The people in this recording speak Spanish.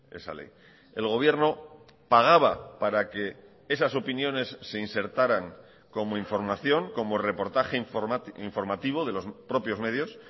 esa ley el gobierno pagaba para que esas opiniones se insertaran como información como reportaje informativo de los propios medios